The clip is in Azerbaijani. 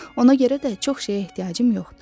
Ona görə də çox şeyə ehtiyacım yoxdur.